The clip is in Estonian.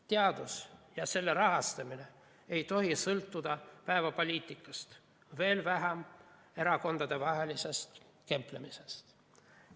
Teadus ja selle rahastamine ei tohi sõltuda päevapoliitikast, veel vähem erakondade kemplemisest.